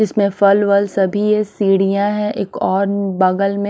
इसमें फल वल सभी ये सीढ़ियाँ हैं एक और बगल में --